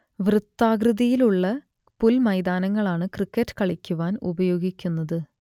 വൃത്താകൃതിയിലുള്ള പുൽമൈതാനങ്ങളാണു ക്രിക്കറ്റ് കളിക്കുവാൻ ഉപയോഗിക്കുന്നത്